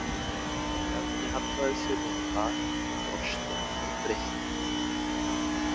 Bjarni hallaði sér nú á bak og brosti aftur breitt.